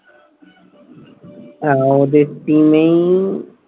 হ্যাঁ, ওদের team নেই